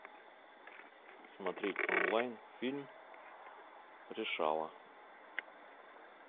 смотреть онлайн фильм решала